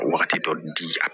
Wagati dɔ di a